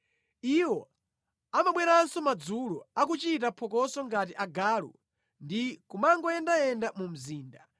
Iwo amabweranso madzulo, akuchita phokoso ngati agalu ndi kumangoyenda mu mzinda.